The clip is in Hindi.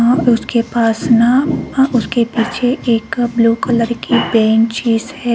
वह उसके पास नाव वह उसके पीछे एक ब्लू कलर की पेंट सीट्स हैं।